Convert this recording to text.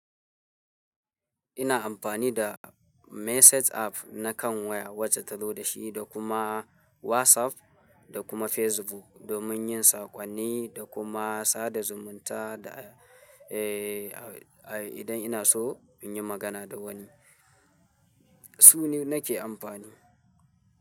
Ina amfani da message app na kan waya wacce ta zo da shi da kuma WhatsApp da kuma Facebook domin yin sakonni da kuma sada zumunta da, eh, idan ina so in yi magana da wani, su ne nake amfani.